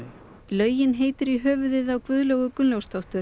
laugin heitir í höfuðið á Guðlaugu Gunnlaugsdóttur